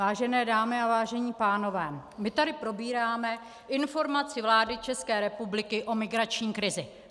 Vážená dámy a vážení pánové, my tady probíráme informace vlády České republiky o migrační krizi.